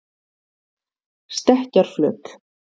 Stekkjarflöt